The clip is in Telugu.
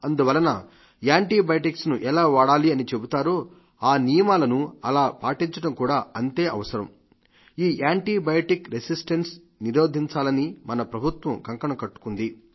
అందువలన యాంటీబయాటిక్ ను ఎలా వాడాలి అని చెబుతారో ఆ నియమాలను అలా పాటించడం కూడా అంతే అవసరం ఈ యాంటీ బయాటిక్ రెసిస్టెన్స్ నిరోధించాలని మన ప్రభుత్వం కంకణం కట్టుకుంది